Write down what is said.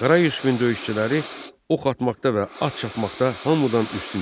Qara Yusifin döyüşçüləri ox atmaqda və at çapmaqda hamıdan üstün idi.